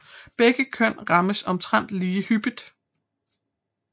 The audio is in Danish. Begge køn rammes omtrent lige hyppigt